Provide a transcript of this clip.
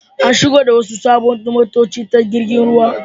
An shigo da wasu sabbin motoci ta jirgin ruwa.